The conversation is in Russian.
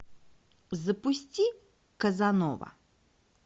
запусти казанова